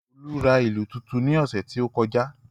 Olú ra ìlù tuntun ní ọ̀sẹ̀ tí ó kọjá